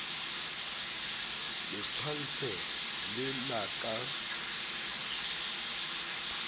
le tshwantshe le la ka